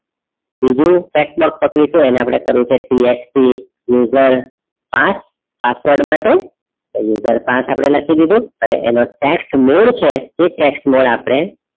બીજું text box પકડીશું એને આપડે કર્યું છે text user પાંચ password માટે user પાંચ લખી દીધું અને એનો text mode છે એ text mode આપડે,